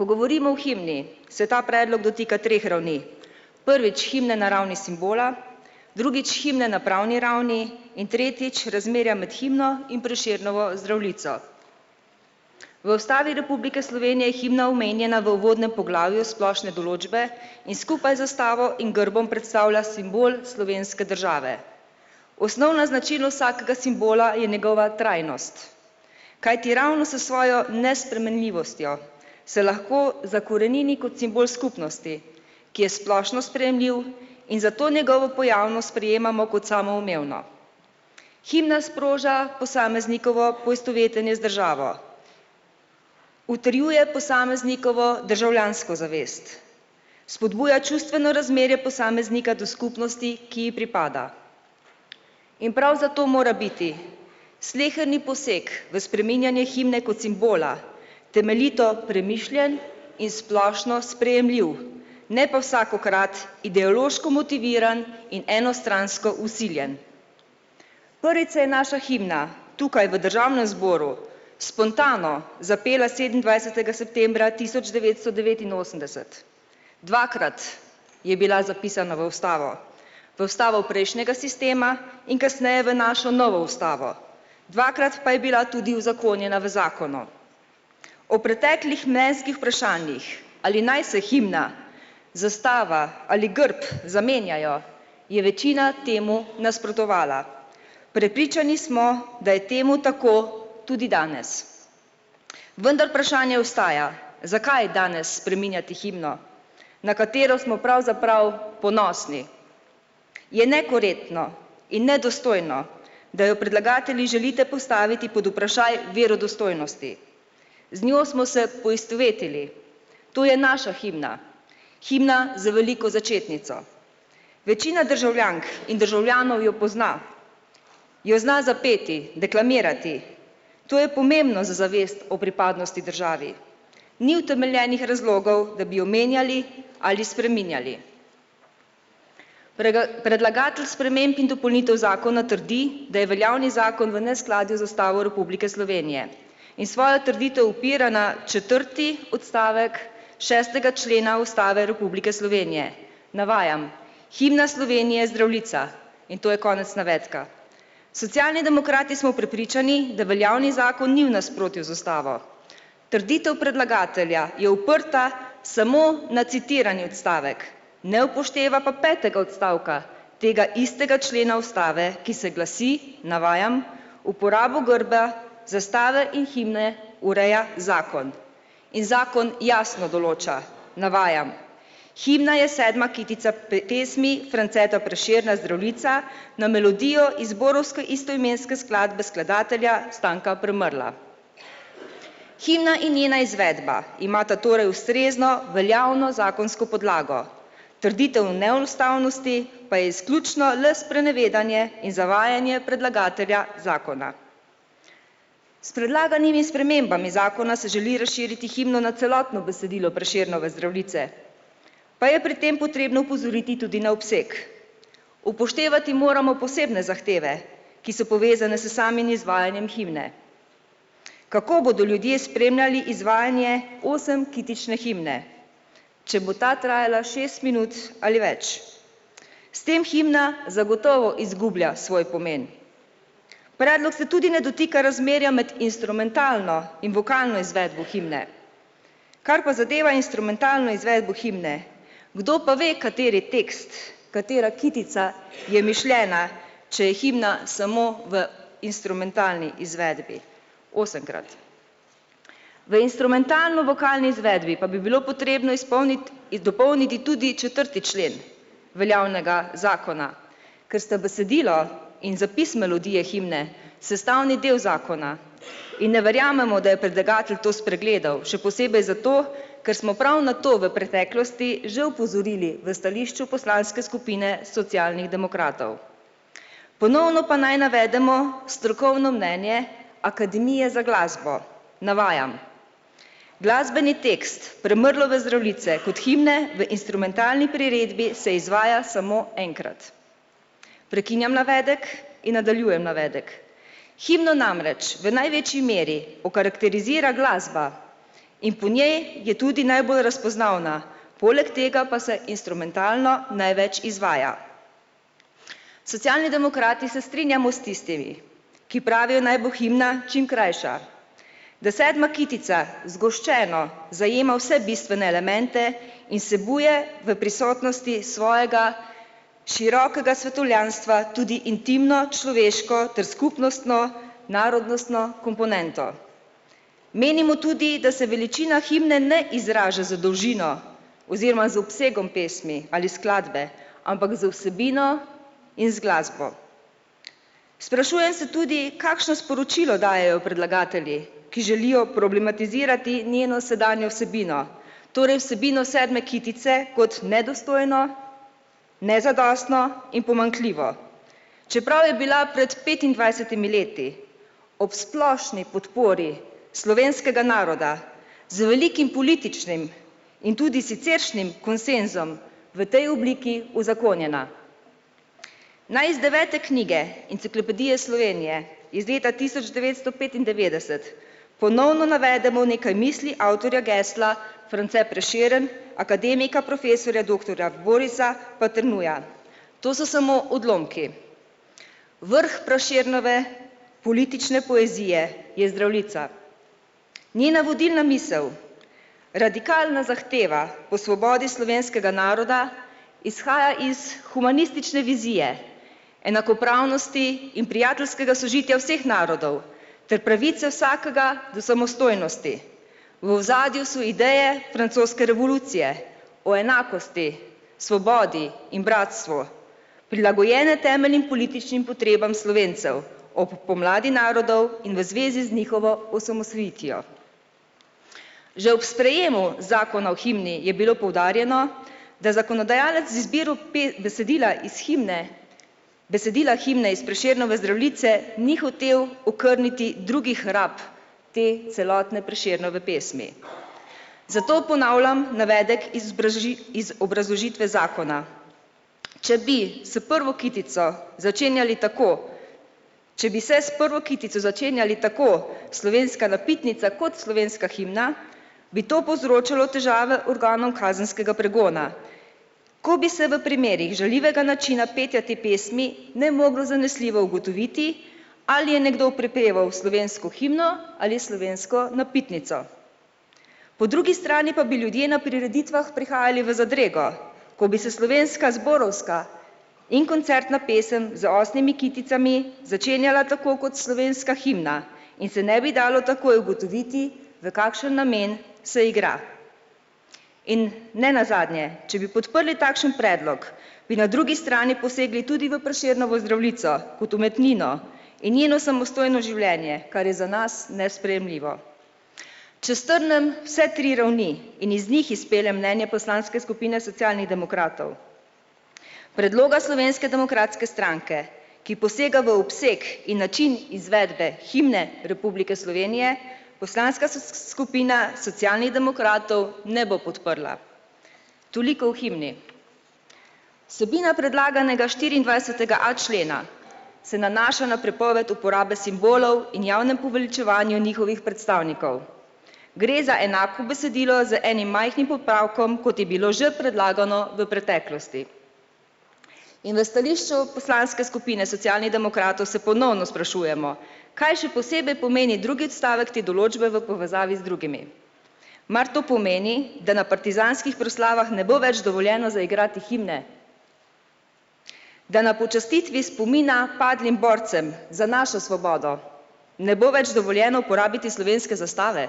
Ko govorimo o himni, se ta predlog dotika treh ravni, prvič himna na ravni simbola, drugič himna na pravni ravni in tretjič razmerja med himno in Prešernovo Zdravljico. V Ustavi Republike Slovenije je himna omenjena v uvodnem poglavju splošne določbe in skupaj zastavo in grbom predstavlja simbol slovenske države. Osnovna značilnost vsakega simbola je njegova trajnost. Kajti ravno s svojo nespremenljivostjo se lahko zakorenini kot simbol skupnosti, ki je splošno sprejemljiv in zato njegovo pojavnost sprejemamo kot samoumevno. Himna sproža posameznikovo poistovetenje z državo. Utrjuje posameznikovo državljansko zavest. Spodbuja čustveno razmerje posameznika do skupnosti, ki ji pripada. In prav zato mora biti sleherni poseg v spreminjanje himne kot simbola temeljito premišljen in splošno sprejemljiv. Ne pa vsakokrat ideološko motiviran in enostransko vsiljen. Prvič se je naša himna tukaj v državnem zboru spontano zapela sedemindvajsetega septembra tisoč devetsto devetinosemdeset. Dvakrat je bila zapisana v ustavo. V ustavo prejšnjega sistema in kasneje v našo novo ustavo. Dvakrat pa je bila tudi uzakonjena v zakonu. O preteklih mnenjskih vprašanjih, ali naj se himna zastava ali grb zamenjajo, je večina temu nasprotovala. Prepričani smo, da je temu tako tudi danes. Vendar vprašanje ostaja, zakaj danes spreminjati himno, na katero smo pravzaprav ponosni? Je nekorektno in nedostojno, da jo predlagatelji želite postaviti pod vprašaj verodostojnosti. Z njo smo se poistovetili, to je naša himna, himna z veliko začetnico. Večina državljank in državljanov jo pozna. Jo zna zapeti, deklamirati, to je pomembno za zavest o pripadnosti državi. Ni utemeljenih razlogov, da bi jo menjali ali spreminjali. predlagatelj sprememb in dopolnitev zakona trdi, da je veljavni zakon v neskladju z Ustavo Republike Slovenije. In svojo trditev opira na četrti odstavek šestega člena Ustave Republike Slovenije. Navajam. "Himna Slovenije je Zdravljica." In to je konec navedka. Socialni demokrati smo prepričani, da veljavni zakon ni v nasprotju z ustavo. Trditev predlagatelja je oprta samo na citirani odstavek, ne upošteva pa petega odstavka tega istega člena ustave, ki se glasi, navajam: "Uporabo grba, zastave in himne ureja zakon." In zakon jasno določa, navajam: "Himna je sedma kitica pesmi Franceta Prešerna Zdravljica na melodijo zborovske istoimenske skladbe skladatelja Stanka Premrla." Himna in njena izvedba imata torej ustrezno veljavno zakonsko podlago, trditev o neustavnosti pa je izključno le sprenevedanje in zavajanje predlagatelja zakona. S predlaganimi spremembami zakona se želi razširiti himno na celotno besedilo Prešernove Zdravljice. Pa je pri tem potrebno opozoriti tudi na obseg. Upoštevati moramo posebne zahteve, ki so povezane s samim izvajanjem himne. Kako bodo ljudje spremljali izvajanje osemkitične himne, če bo ta trajala šest minut ali več? S tem himna zagotovo izgublja svoj pomen. Predlog se tudi ne dotika razmerja med instrumentalno in vokalno izvedbo himne. Kar pa zadeva instrumentalno izvedbo himne, kdo pa ve, kateri tekst, katera kitica je mišljena, če je himna samo v instrumentalni izvedbi osemkrat. V instrumentalno-vokalni izvedbi pa bi bilo potrebno izpolniti in dopolniti tudi četrti člen veljavnega zakona. Ker sta besedilo in zapis melodije himne sestavni del zakona in ne verjamemo, da je predlagatelj to spregledal, še posebej zato, ker smo prav na to v preteklosti že opozorili v stališču poslanske skupine Socialnih demokratov. Ponovno pa naj navedemo strokovno mnenje akademije za glasbo. Navajam. "Glasbeni tekst Premrlove Zdravljice kot himne v instrumentalni priredbi se izvaja samo enkrat." Prekinjam navedek in nadaljujem navedek. "Himno namreč v največji meri okarekterizira glasba in po njej je tudi najbolj razpoznavna, poleg tega pa se instrumentalna največ izvaja." Socialni demokrati se strinjamo s tistimi, ki pravijo, naj bo himna čim krajša, da sedma kitica zgoščeno zajema vse bistvene elemente in vsebuje v prisotnosti svojega širokega svetovljanstva tudi intimno človeško ter skupnostno narodnostno komponentno. Menimo tudi, da se veličina himne ne izraža z dolžino oziroma z obsegom pesmi ali skladbe, ampak z vsebino in z glasbo. Sprašujem se tudi, kakšno sporočilo dajejo predlagatelji, ki želijo problematizirati njeno sedanjo vsebino, torej vsebino sedme kitice kot nedostojno, nezadostno in pomanjkljivo. Čeprav je bila pred petindvajsetimi leti ob splošni podpori slovenskega naroda z velikim političnim in tudi siceršnjim konsenzom v tej obliki uzakonjena. Naj iz devete knjige Enciklopedije Slovenije iz leta tisoč devetsto petindevetdeset ponovno navedemo nekaj misli avtorja gesla France Prešeren akademika, profesorja, doktorja Borisa Paternuja. To so samo odlomki. "Vrh Prešernove politične poezije je Zdravljica. Njena vodilna misel, radikalna zahteva o svobodi slovenskega naroda, izhaja iz humanistične vizije enakopravnosti in prijateljskega sožitja vseh narodov ter pravice vsakega do samostojnosti. V ozadju so ideje francoske revolucije o enakosti, svobodi in bratstvu. Prilagojene temeljnim političnim potrebam Slovencev ob pomladi narodov in v zvezi z njihovo osamosvojitvijo." Že ob sprejemu zakona o himni je bilo poudarjeno, da zakonodajalec z izbiro besedila iz himne, besedila himne iz Prešernove Zdravljice ni hotel okrniti drugih rab te celotne Prešernove pesmi. Zato ponavljam navedek iz iz obrazložitve zakona. "Če bi se prvo kitico začenjali tako, če bi se s prvo kitico začenjali tako slovenska napitnica kot slovenska himna, bi to povzročalo težave organom kazenskega pregona." Ko bi se v primerih žaljivega načina petja te pesmi ne moglo zanesljivo ugotoviti, ali je nekdo prepeval slovensko himno ali slovensko napitnico. Po drugi strani pa bi ljudje na prireditvah prihajali v zadrego, ko bi se slovenska zborovska in koncertna pesem z osmimi kiticami začenjala tako kot slovenska himna in se ne bi dalo takoj ugotoviti, v kakšen namen se igra. In nenazadnje, če bi podprli takšen predlog, bi na drugi strani posegli tudi v Prešernovo Zdravljico kot umetnino in njeno samostojno življenje, kar je za nas nesprejemljivo. Če strnim vse tri ravni in iz njih izpeljem mnenje poslanske skupine Socialnih demokratov, predloga Slovenske demokratske stranke, ki posega v obseg in način izvedbe himne Republike Slovenije, poslanska skupina Socialnih demokratov ne bo podprla. Toliko o himni. Vsebina predlaganega štiriindvajsetega a člena se nanaša na prepoved uporabe simbolov in javnem poveličevanju njihovih predstavnikov. Gre za enako besedilo z enim majhnim popravkom, kot je bilo že predlagano v preteklosti. In v stališču poslanske skupine Socialnih demokratov se ponovno sprašujemo, kaj še posebej pomeni drugi odstavek te določbe v povezavi z drugimi. Mar to pomeni, da na partizanskih proslavah ne bo več dovoljeno zaigrati himne? Da na počastitvi spomina padlim borcem za našo svobodo ne bo več dovoljeno uporabiti slovenske zastave?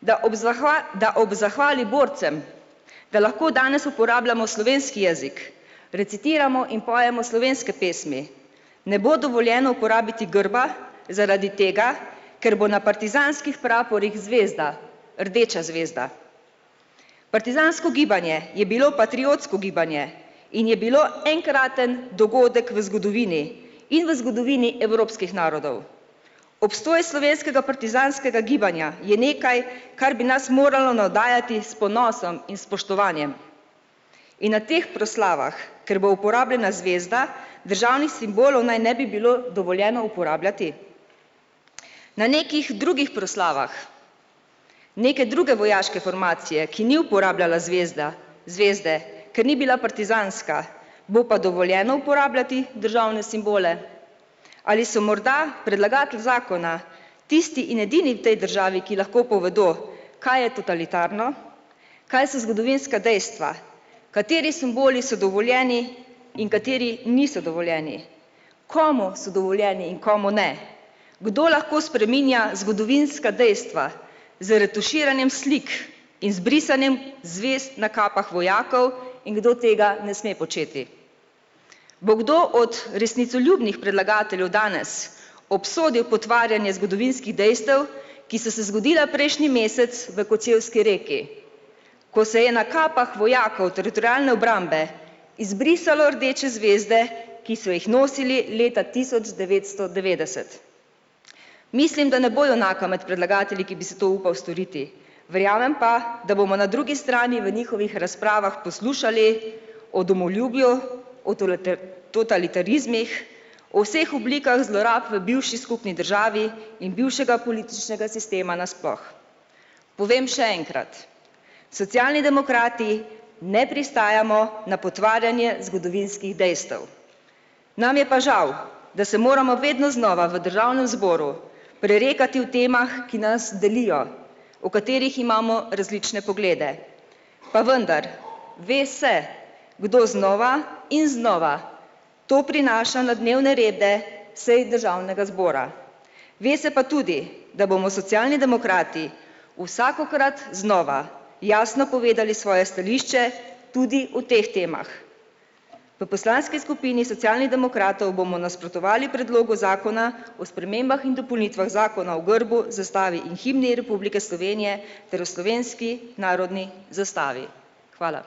Da ob da ob zahvali borcem, da lahko danes uporabljamo slovenski jezik, recitiramo in pojemo slovenske pesmi ne bo dovoljeno uporabiti grba zaradi tega, ker bo na partizanskih praporih zvezda, rdeča zvezda? Partizansko gibanje je bilo patriotsko gibanje in je bilo enkraten dogodek v zgodovini in v zgodovini evropskih narodov. Obstoj slovenskega partizanskega gibanja je nekaj, kar bi nas moralo navdajati s ponosom in spoštovanjem. In na teh proslavah, ker bo uporabljena zvezda, državnih simbolov naj ne bi bilo dovoljeno uporabljati? Na nekih drugih proslavah neke druge vojaške formacije, ki ni uporabljala zvezda, zvezde, ker ni bila partizanska bo pa dovoljeno uporabljati državne simbole? Ali se morda predlagatelj zakona tisti in edini v tej državi, ki lahko povedo, kaj je totalitarno, kaj so zgodovinska dejstva, kateri simboli so dovoljeni in kateri niso dovoljeni? Komu so dovoljeni in komu ne? Kdo lahko spreminja zgodovinska dejstva z retuširanjem slik in z brisanjem zvezd na kapah vojakov in kdo tega ne sme početi? Bo kdo od resnicoljubnih predlagateljev danes obsodil potvarjanje zgodovinskih dejstev, ki so se zgodila prejšnji mesec v Kočevski Reki, ko se je na kapah vojakov teritorialne obrambe izbrisalo rdeče zvezde, ki so jih nosili leta tisoč devetsto devetdeset? Mislim, da ne bo junaka med predlagatelji, ki bi se to upal storiti. Verjamem pa, da bomo na drugi strani v njihovih razpravah poslušali o domoljubju, totalitarizmih, o vseh oblikah zlorab v bivši skupni državi in bivšega političnega sistema nasploh. Povem še enkrat. Socialni demokrati ne pristajamo na potvarjanje zgodovinskih dejstev. Nam je pa žal, da se moramo vedno znova v državnem zboru prerekati o temah, ki nas delijo, o katerih imamo različne poglede, pa vendar ve se, kdo znova in znova to prinaša na dnevne rede sej državnega zbora. Ve se pa tudi, da bomo Socialni demokrati vsakokrat znova jasno povedali svoje stališče tudi o teh temah. V poslanski skupini Socialnih demokratov bomo nasprotovali predlogu zakona o spremembah in dopolnitvah zakona o grbu, zastavi in himni Republike Slovenije ter o slovenski narodni zastavi. Hvala.